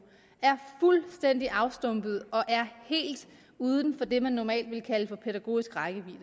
er fuldstændig afstumpede og helt uden for det man normalt ville kalde for pædagogisk rækkevidde